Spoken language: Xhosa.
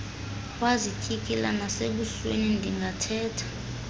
wazityikila nasebusweni ndingathetha